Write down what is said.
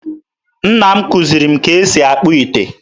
Nna m kụziri m ka e si akpụ ite